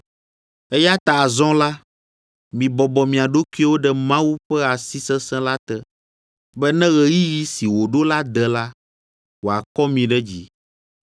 Eya ta azɔ la, mibɔbɔ mia ɖokuiwo ɖe Mawu ƒe asi sesẽ la te, be ne ɣeyiɣi si wòɖo la de la, wòakɔ mi ɖe dzi.